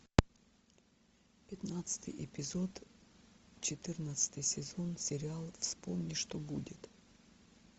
пятнадцатый эпизод четырнадцатый сезон сериал вспомни что будет